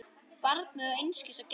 Barnið á einskis að gjalda.